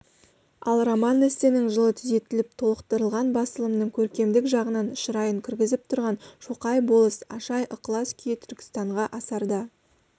ал роман-эссенің жылы түзетіліп толықтырылған басылымының көркемдік жағынан шырайын кіргізіп тұрған шоқай болыс ашай ықылас күйі түркістанға асарда